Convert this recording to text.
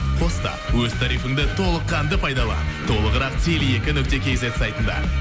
қоста өз тарифінді толықанды пайдала толығырақ теле екі нүкте кейзет сайтында